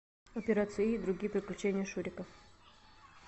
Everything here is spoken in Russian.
операция ы и другие приключения шурика